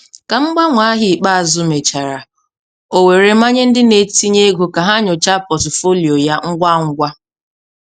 Ka mgbanwe ahịa ikpeazụ mechara, o were manye ndị n'etinye ego ka ha nyochaa pọtụfoliyo ha ngwa ngwa.